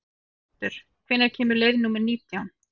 Erlendur, hvenær kemur leið númer nítján?